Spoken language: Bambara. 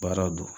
Baaraw don